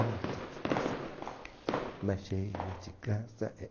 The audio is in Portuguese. Olha que coisa mais linda, mais cheia de graça é